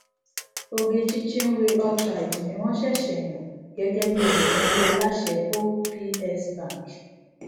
ogechi chinwe altraide ni wón ṣẹṣẹ yàn gẹgẹ olùdarí aláṣẹ hope psbank